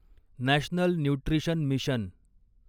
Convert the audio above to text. national nutrition mission